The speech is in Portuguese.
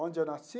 Onde eu nasci?